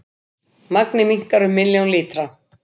Magnið minnkar um milljón lítra